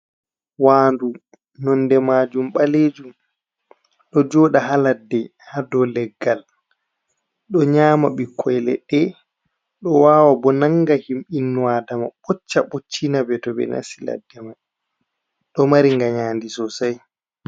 Waandu nonde majum balejum, ɗo joɗa ha ladde ha dou leggal, ɗo nyama ɓikkoi leɗɗe, ɗo wawa bo nanga him hinnu aadama ɓocca ɓoccinaɓe to ɓe nasti ladde mai, ɗo mari nganyandi sosai.